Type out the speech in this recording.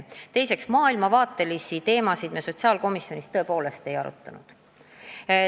Teiseks, maailmavaatelisi teemasid me sotsiaalkomisjonis ei arutanud.